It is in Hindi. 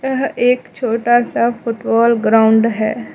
यह एक छोटा सा फुटबॉल ग्राउंड है।